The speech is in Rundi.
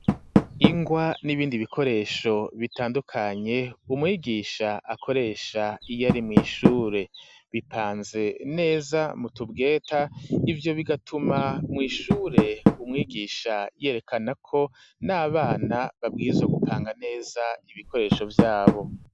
Ingwa, n'ibindi bikoresho bitandukanye, umwigisha akoresha iyari mw'ishure bipanze neza mu tubweta, ivyo bigatuma mw'ishure umwigisha yerekana ko n'abana babwirizwa gupanga neza ibikoresho vyabo.